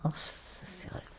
Nossa senhora.